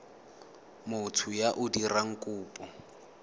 motho yo o dirang kopo